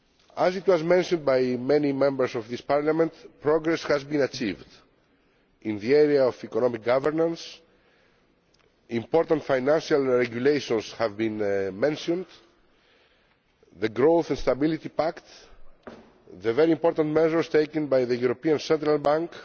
As was mentioned by many Members of this Parliament, progress has been achieved in the area of economic governance, important financial regulations have been mentioned, such as the Growth and Stability Pact and the very important measures taken by the European Central Bank.